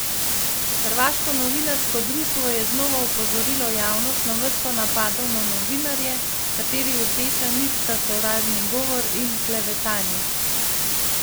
Hrvaško novinarsko društvo je znova opozorilo javnost na vrsto napadov na novinarje, katerih rdeča nit sta sovražni govor in klevetanje.